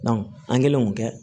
an kɛlen k'o kɛ